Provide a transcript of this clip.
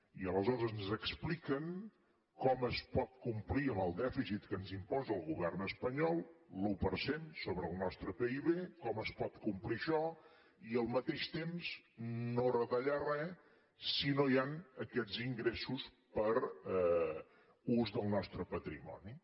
i aleshores ens expliquen com es pot complir amb el dèficit que ens imposa el govern espanyol l’un per cent sobre el nostre pib com es pot complir això i al mateix temps no retallar res si no hi han aquests ingressos per ús del nostre patrimoni